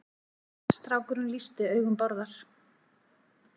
Strákurinn lýsti augum Bárðar.